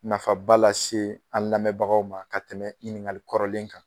Nafaba lase an lamɛnbagaw ma ka tɛmɛ ɲininkali kɔrɔlen kan.